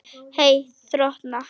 Hey þrotna.